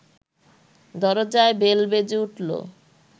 দরজায় বেল বেজে উঠল